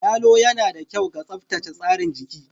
Yalo yana da kyau ga tsaftace tsarin jiki